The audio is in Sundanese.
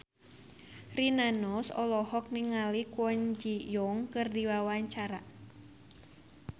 Rina Nose olohok ningali Kwon Ji Yong keur diwawancara